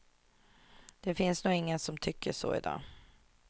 Det finns nog ingen som tycker så i dag.